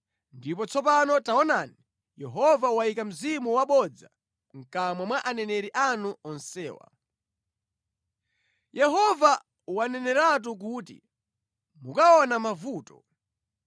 “Ndipo tsopano taonani, Yehova wayika mzimu wabodza mʼkamwa mwa aneneri anu onsewa. Yehova waneneratu kuti mukaona mavuto.”